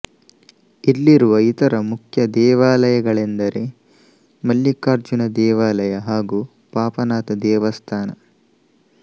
ಇಲ್ಲಿರುವ ಇತರ ಮುಖ್ಯ ದೇವಾಲಯಗಳೆಂದರೆ ಮಲ್ಲಿಕಾರ್ಜುನ ದೇವಾಲಯ ಹಾಗೂ ಪಾಪನಾಥ ದೇವಸ್ಥಾನ